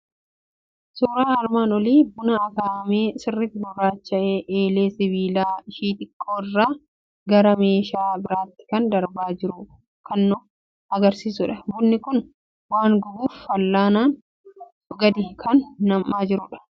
Suuraan armaan olii buna akaa'amee sirriitti gurraacha'ee, eelee sibiilaa ishii xiqqoo irraa gara meeshaa biraatti kan darbaa jiru kan nu argisiisudha. Bunni kun waan gubuuf fal'aanaan gadi kan nam'aa jirudha.